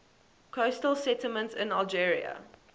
coastal settlements in algeria